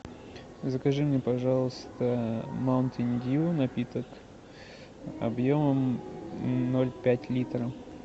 закажи мне пожалуйста маунтин дью напиток объемом ноль пять литра